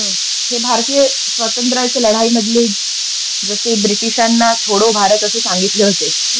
हे भारतीय स्वातंत्र्याच्या लढाई मधले जसे ब्रिटीशांना छोडो असे सांगितले होते,